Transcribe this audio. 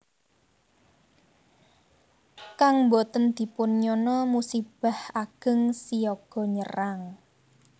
Kang boten dipun nyana musibah ageng siaga nyerang